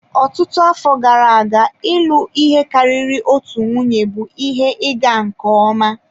Ọtụtụ afọ gara aga, ịlụ ihe karịrị otu nwunye bụ ihe ịga nke ọma.